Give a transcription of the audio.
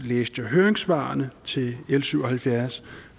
læste jeg høringssvarene til l syv og halvfjerds